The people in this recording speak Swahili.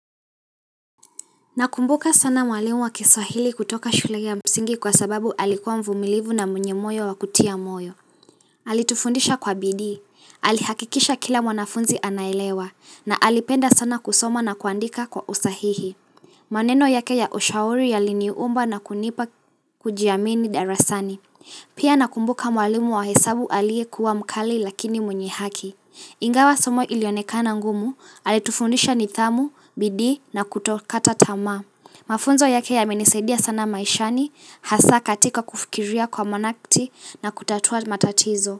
Nakumbuka sana mwalimu wa kiswahili kutoka shule ya msingi kwa sababu alikuwa mvumilivu na mwenye moyo wa kutia moyo. Alitufundisha kwa bidii. Alihakikisha kila mwanafunzi anaelewa na alipenda sana kusoma na kuandika kwa usahihi. Maneno yake ya ushauri yaliniumba na kunipa kujiamini darasani. Pia nakumbuka mwalimu wa hesabu aliyekuwa mkali lakini mwenye haki. Ingawa somo ilionekana ngumu. Alitufundisha nidhamu, bidii na kutokata tamaa. Mafunzo yake yamenisedia sana maishani, hasaa katika kufikiria kwa monakti na kutatua matatizo.